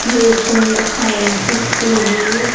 हे एक sound system ये.